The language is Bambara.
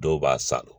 Dɔw b'a san